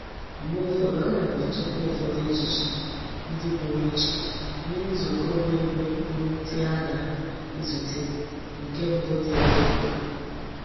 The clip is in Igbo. Mgbe ufodu ana m echekwa ufodu ejiji ndi puru iche nye nzuko bu ebe n'ute a na-ezute nke mbu di oke mkpa.